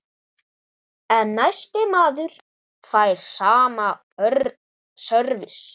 En næsti maður fær sama sörvis.